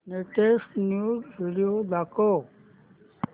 latest news video दाखव